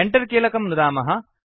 Enter कीलकं नुदामः